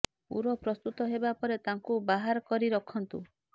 ପୂର ପ୍ରସ୍ତୁତ ହେବା ପରେ ତାକୁ ବାହାର କରି ରଖନ୍ତୁ